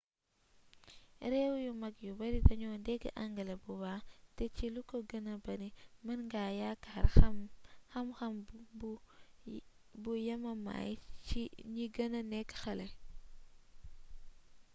réew yu mag yu bari dañoo dégg angale bu baax te ci lu ko gëna bari mën nga yaakaar xam-xam bu yemamaay ci ñi gëna nekk xale